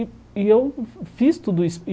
E e eu fiz tudo isso.